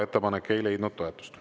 Ettepanek ei leidnud toetust.